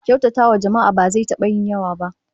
Kyautatawa jama'a ba zai taba yin yawa ba